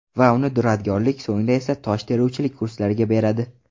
Va uni duradgorlik, so‘ngra esa tosh teruvchilik kurslariga beradi.